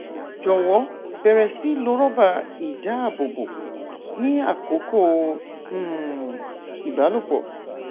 jọwọ bẹrẹ sí lo rọbà í dáàbòbò ní àkókò um ìbálòpọ